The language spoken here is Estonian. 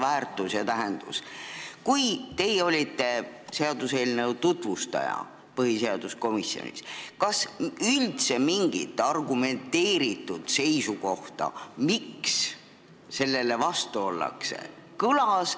Kui te seda eelnõu põhiseaduskomisjonis tutvustasite, kas kõlas üldse mingi argumenteeritud seisukoht, miks selle vastu ollakse?